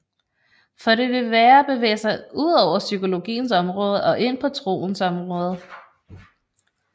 For det vil være at bevæge sig ud over psykologiens område og ind på troens område